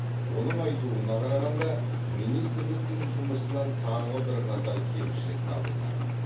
оның айтуына қарағанда министрліктің жұмысынан тағы бірқатар кемшілік табылған